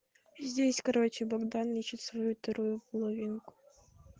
здесь короче богдан ищет свою вторую половинку